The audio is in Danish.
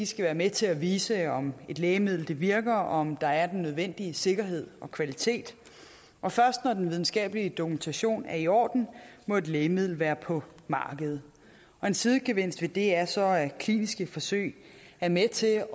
skal være med til at vise om et lægemiddel virker og om der er den nødvendige sikkerhed og kvalitet og først når den videnskabelige dokumentation er i orden må et lægemiddel være på markedet en sidegevinst ved det er så at kliniske forsøg er med til at